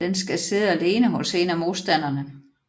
Den skal sidde alene hos en af modstanderne